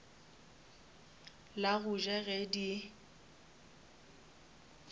la go ja ge di